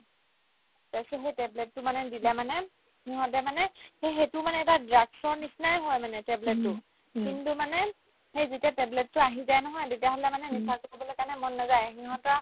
তাৰপিছত সেই tablet তো মানে যেতিয়া মানে সিহঁতে মানে সেই ~ সেইটো মানে এটা drug ৰ নিচিনাই হয় মানে tablet তো কিন্তু মানে সেই যেতিয়া tablet তো আহি যায় নহয় তেতিয়াহ'লে মানে নিচাতো খাবলৈকে মন নেযাই সিহঁতৰ